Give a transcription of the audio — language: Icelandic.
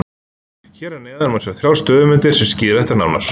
Hér að neðan má sjá þrjár stöðumyndir sem skýra þetta nánar.